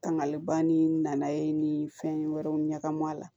Tangali ban ni nana ye ni fɛn wɛrɛw ɲagami a la